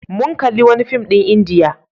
Mun kalli wani fim ɗin Indiya.